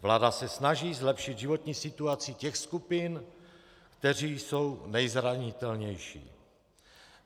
Vláda se snaží zlepšit životní situaci těch skupin, které jsou nejzranitelnější.